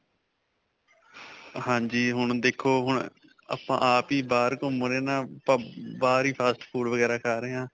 ਹਾਂਜੀ. ਹੁਣ ਦੇਖੋ, ਹੁਣ ਅਅ ਆਪਾਂ ਆਪ ਹੀ ਬਾਹਰ ਘੁਮੰ ਰਹੇ ਨਾ ਅਅ ਆਪਾਂ ਬਾਹਰ ਹੀ fast food ਵਗੈਰਾ ਖਾ ਰਹੇ ਹਾਂ.